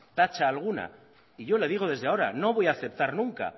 tacha alguna y yo le digo desde ahora no voy a aceptar nunca